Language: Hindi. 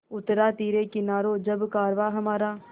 उतरा तिरे किनारे जब कारवाँ हमारा